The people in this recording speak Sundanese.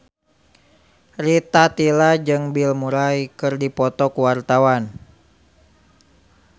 Rita Tila jeung Bill Murray keur dipoto ku wartawan